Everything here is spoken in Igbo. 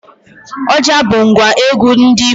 Ọjà bụ ngwa egwu ndị Igbo